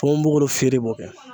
Ponponpogolon fere b'o kɛ